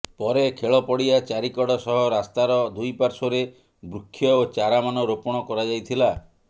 ପରେ ଖେଳ ପଡ଼ିଆ ଚାରିକଡ଼ ସହ ରାସ୍ତାର ଦୁଇପାର୍ଶ୍ବରେ ବୃକ୍ଷ ଓ ଚାରା ମାନ ରୋପଣ କରାଯାଇଥିଲା